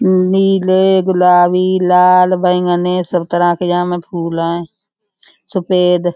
नीले गुलाबी लाल बैगनी सब तरह के यहां में फूल हैं। सफेद --